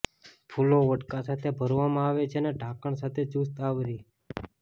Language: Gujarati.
ફૂલો વોડકા સાથે ભરવામાં આવે છે અને ઢાંકણ સાથે ચુસ્ત આવરી